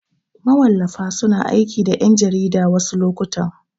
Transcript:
Mawallafa suna aiki da ƴan jarida wasu lokutan.